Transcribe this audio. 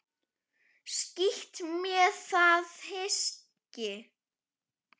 Skítt með það hyski.